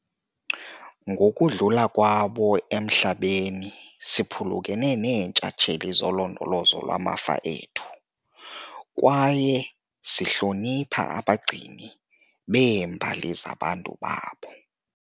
Ngokudlula kwabo emhlabeni, siphulukene neentshatsheli zolondolozo lwamafa ethu, kwaye sihlonipha abagcini beembali zabantu babo.